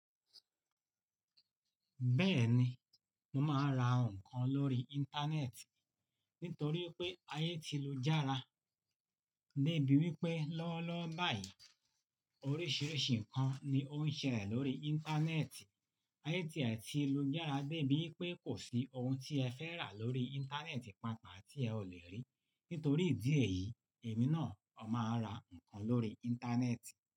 Bẹ́ẹ̀ni, mo máa n ra nǹkan lórí Íńtánẹ́ẹ̀tì nítorí pé ayé ti lu jára dé bí wípé lọ́wọ́lọ́wọ́ báyìí oríṣiríṣi nǹkan ni ó ń ṣẹlẹ̀ lórí Íńtánẹ́ẹ̀tì. Ayé ti ẹ ti lu jára dé bí wípé kò sí ohun tí ẹ fẹ́ rà lórí Íńtánẹ́ẹ̀tì pàta tí ẹ ò lè rí. Nítorí ìdí èyí, èmi náà a máa ra nǹkan lórí Íńtánẹ́ẹ̀tì.